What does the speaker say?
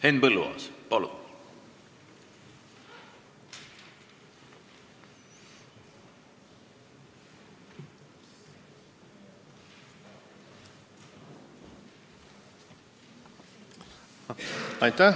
Henn Põlluaas, palun!